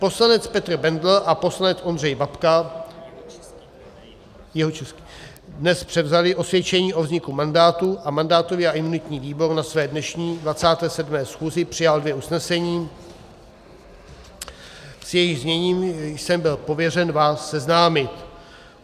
Poslanec Petr Bendl a poslanec Ondřej Babka dnes převzali osvědčení o vzniku mandátu a mandátový a imunitní výbor na své dnešní 27. schůzi přijal dvě usnesení, s jejichž zněním jsem byl pověřen vás seznámit.